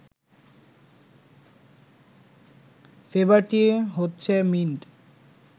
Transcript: ফ্লেবারটি হচ্ছে মিন্ট